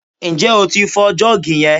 Ǹjẹ́ o tí ń fọ jọ́ọ̀gì yẹn?